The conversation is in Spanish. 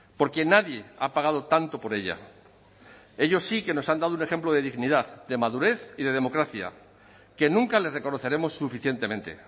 porque nadie ha pagado tanto por ella ellos sí que nos han dado un ejemplo de dignidad de madurez y de democracia que nunca les reconoceremos suficientemente